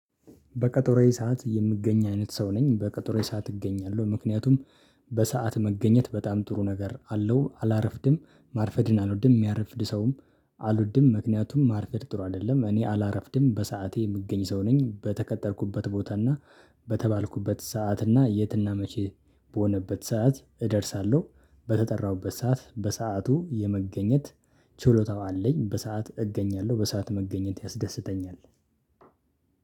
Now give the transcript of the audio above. በቀጠሮዬ ሰዓት የምገኝ አይነት ሰው ነኝ በቀጠሮዬ ሰዓት እገኛለሁ። ምክንያቱም በሰአት መገኘት በጣም ጥሩ ነገር አለው። አላረፍድም ማርፈድን አልወድም የሚያረፍድ ሰውም አልወድም። ምክንያቱም ማርፈድ ጥሩ አይደለም። እኔ አላረፍድም በሰአቴ የምገኝ ሰው ነኝ። በተቀጠርኩበት ቦታ እና በተባልኩበት ሰዓት እና የትና መቼ በሆነበት ሰዓት እደርሳለሁ። በተጠራሁበት ሰዓት በሰአቱ የመገኘት ችሎታው አለኝ። በሰአት እገኛለሁ በሰአት መገኘት ያስደስተኛል።